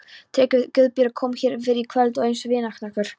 TRYGGVI: Guðbjörg kom hér fyrr í kvöld eins og vígahnöttur.